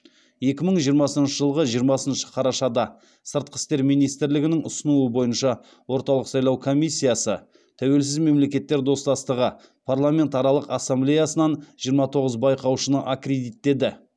екі мың жиырмасыншы жылғы жиырмасыншы қарашада сыртқы істер министрлігінің ұсынуы бойынша орталық сайлау комиссиясы тәуелсіз мемлекеттер достастығы парламентаралық ассамблеясынан жиырма тоғыз байқаушыны аккредиттеді